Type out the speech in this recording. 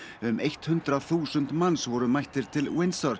um eitt hundrað þúsund manns voru mættir til